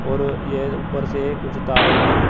और यह उपर से कुछ तारे भी--